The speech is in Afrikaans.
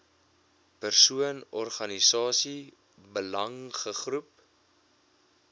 persoon organisasie belangegroep